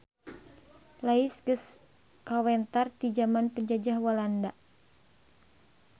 Lais geus kawentar ti jaman Penjajah Walanda.